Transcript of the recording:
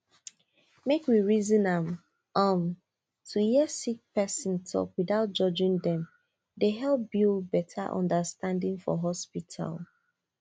make we reason am um to hear sick person talk without judging dem dey help build better understanding for hospital